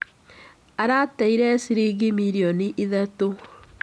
Arateire ciringi mirioni ithatũ.